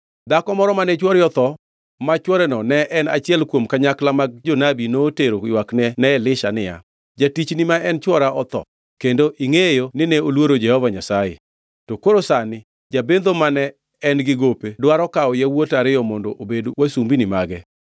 Dhako moro mane chwore otho ma chworeno ne en achiel kuom kanyakla mag jonabi notero ywakne ne Elisha niya, “Jatichni ma en chwora otho kendo ingʼeyo ni ne oluoro Jehova Nyasaye. To koro sani, jabendho mane en-gi gope dwaro kawo yawuota ariyo mondo obed wasumbini mage.”